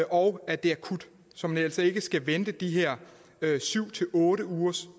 og at det er akut så man altså ikke skal vente de her syv otte uger som